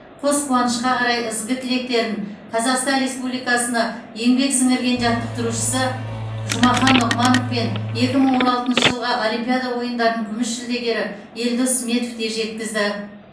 қос қуанышқа қарай ізгі тілектерін қазақстан республикасына еңбек сіңірген жаттықтырушысы жұмахан нұғманов пен екі мың он алтыншы жылғы олимпиада ойындарының күміс жүлдегері елдос сметов те жеткізді